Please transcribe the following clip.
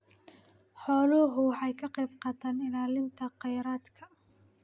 Xooluhu waxay ka qaybqaataan ilaalinta kheyraadka.